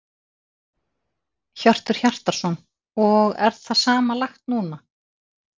Hjörtur Hjartarson: Og er það sama lagt núna?